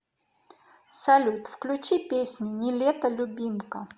салют включи песню не лето любимка